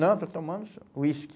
Não, estou tomando uísque.